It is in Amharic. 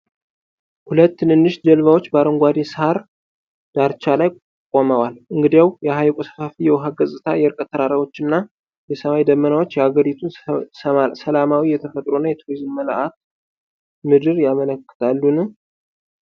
ሁለት ትንንሽ ጀልባዎች በአረንጓዴ ሣር ዳርቻ ላይ ቆመዋል፤ እንግዲያው፣ የሐይቁ ሰፋፊ የውሃ ገጽታ፣ የርቀት ተራራዎችና የሰማይ ደመናዎች የአገሪቱን ሰላማዊ የተፈጥሮ እና የቱሪዝም መልክዓ ምድር ያመለክታሉን?